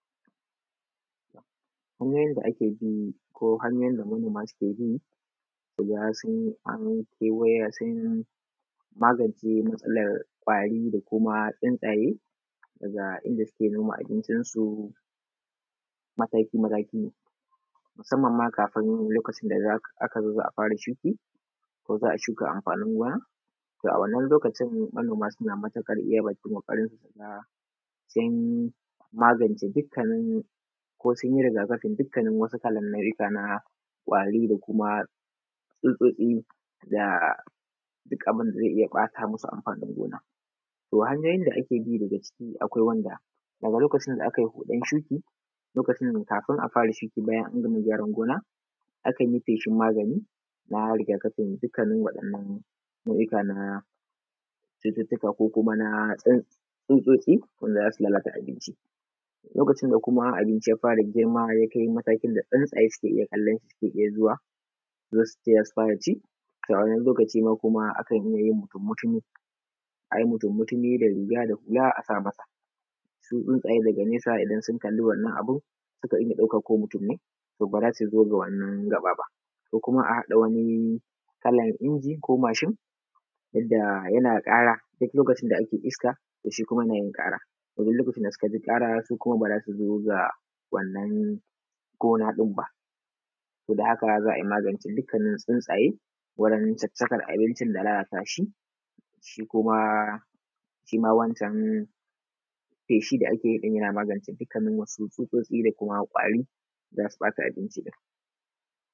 Kaman yanda ake gini ko manoma suga cewa sun magance matsalar kwari gabaɗaya da tsuntsaye daga inda suke noma abincisu, mataki-mataki musamman ma kafin lokacin da za a zo a fara shuka ko za a shuka anfanin gona. To, a wannan lokacin manoma suna iya bakin ƙoƙarinsu sun magance dukkanin nau’uka na kwarin da kuma tsutsutsi da duk abin da zai iya ɓata musu anfanin gona, to hanyoyin da ake bi daga ciki akwai wanda a lokacin da akai huɗan tudu lokacin kafin a fara shiri bayan an gama gyaran gona akan yi feshin maganin na rigakafin dukkanin wayannan nau’uka na cututtuka ko kuma na tsutsutsi da za so lalata abinci lokacin da abnici ya fara girma, yakai lokacin da tsintsaye suke kallon shi suke iya zuwa su zo, su tsaya suna ci. Wani lokaci ma akan yi wani mutun mutumi da hula da riga su tsuntsaye daga nesa idan sun kalla wannan abun se su ɗauka ko mutum ne ba za so zo ga wannan gaɓa ba ko kuma a haɗa wani kala biyu ko mashin wanda yana ƙara duk lokacin da ake iska. To, shi kuma yanayin ƙara duk lokacin da suka ji ƙara, su kuma ba za su zo wurin ba wannan gona ɗin ba sabo da haka za a yi maganin tsintsaye wajen tsatstsakan abincin da lalata shi, shi kuma shima wancan feshi da ake yi yana magance duk wani tsutsutsi da kwari da za su ɓata abinci.